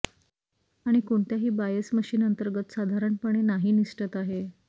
आणि कोणत्याही bias machine अंतर्गत साधारणपणे नाही निसटत आहे